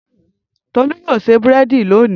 Tolú yóò ṣe búrẹ́dì lónìí.